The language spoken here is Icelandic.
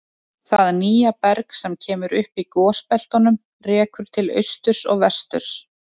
Það nýja berg sem kemur upp í gosbeltunum rekur til austurs og vesturs.